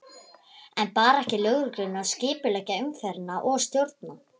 En bar ekki lögreglunni að skipuleggja umferðina og stjórna?